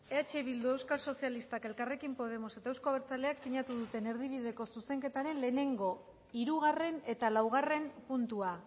eh bildu euskal sozialistak elkarrekin podemos eta euzko abertzaleak sinatu duten erdibideko zuzenketaren lehenengo hirugarren eta laugarren puntua